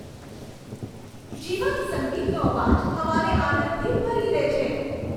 જીવંત સંગીતનો અવાજ હવાને આનંદથી ભરી દે છે.